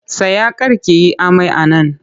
Tsaya kar ki yi amai a nan!